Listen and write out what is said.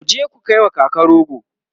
kuje ku kaiwa kaka goro!